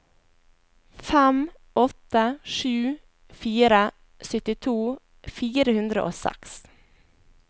fem åtte sju fire syttito fire hundre og seks